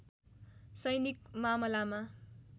सैनिक मामलामा